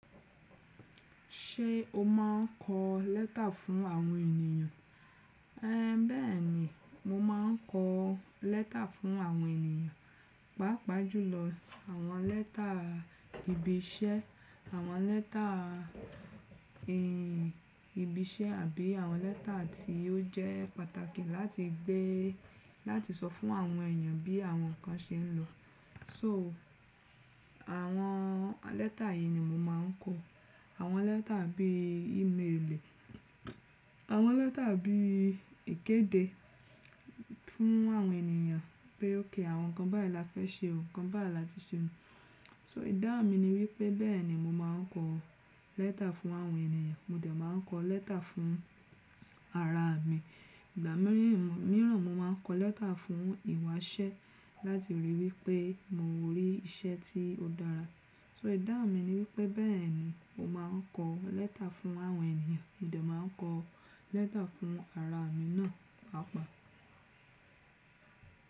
Ṣé o máa ń kọ lẹ́tà fún àwọn ènìyàn? Ẹn, bẹ́ẹ̀ ni, mo máa ń kọ lẹ́tà fún àwọn ènìyàn. Pápa jùlọ àwọn lẹ́tà ìbí iṣẹ́, àwọn lẹ́tà ìbí iṣẹ́ àbí àwọn lẹ́tà tí ó jẹ́ pàtàkì láti gbé láti sọ fún àwọn ènìyàn bí àwọn nǹkan ṣe ń lọ. So àwọn lẹ́tà yìí ni mo máa ń kọ. Àwọn lẹ́tà bí i-ímélì, àwọn lẹ́tà bí ìkéde fún àwọn ènìyàn pé ókè àwọn nǹkan báyìí la fẹ́ ṣe, nǹkan bá la ti ṣe nù. So idáhun mi ni wípé bẹ́ẹ̀ ni mo máa ń kọ lẹ́tà fún àwọn ènìyàn. Mo de máa ń kọ lẹ́tà fún ara mi. Ìgbà míràn mo máa ń kọ lẹ́tà fún ìwásẹ́ láti rí wípé mo rí iṣẹ́ tí ó dára. So idáhun mi ni wípé bẹ́ẹ̀ ni o máa ń kọ lẹ́tà fún àwọn ènìyàn. Mo dà máa ń kọ lẹ́tà fún ara mi náà, àpá.